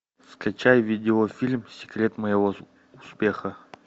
скачай видеофильм секрет моего успеха